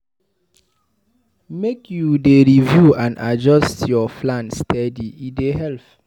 Make you dey review and adjust your plan steady, e dey help.